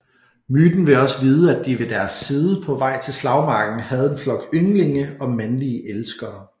Myten vil også vide at de ved deres side på vej til slagmarken havde en flok ynglinge og mandlige elskere